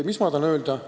Mis ma tahan öelda?